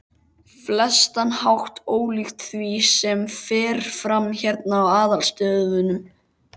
flestan hátt ólíkt því, sem fer fram hérna í aðalstöðvunum.